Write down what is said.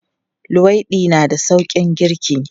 Luwaiɗi na da sauƙin girki.